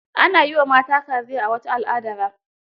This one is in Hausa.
Ana yi wa mata kaziya a wata al'adara.